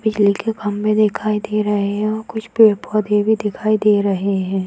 बिजली के खंभे दिखाई दे रहे हैं और कुछ पेड़-पौधे भी दिखाई दे रहे हैं।